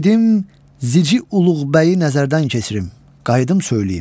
Gedim Zici Uluğbəyi nəzərdən keçirim, qayıdım söyləyim.